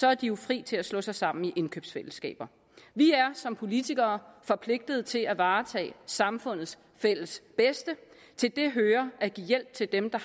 er de jo fri til at slå sig sammen i indkøbsfællesskaber vi er som politikere forpligtet til at varetage samfundets fælles bedste og til det hører at give hjælp til dem der